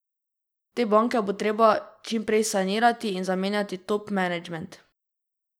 Te banke bo treba čim prej sanirati in zamenjati top menedžment.